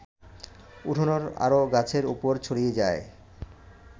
উঠোনের আরও গাছের ওপর ছড়িয়ে যায়